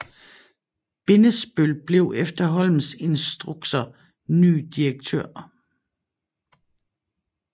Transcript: Bindesbøll blev efter Holms instrukser ny direktør